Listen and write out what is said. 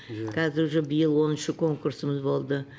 қазір уже биыл оныншы конкурсымыз болды